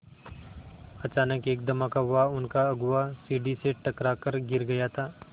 अचानक एक धमाका हुआ उनका अगुआ सीढ़ी से टकरा कर गिर गया था